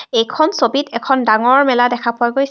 এইখন ছবিত এখন ডাঙৰ মেলা দেখা পোৱা গৈছে.